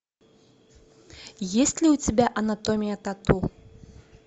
есть ли у тебя анатомия тату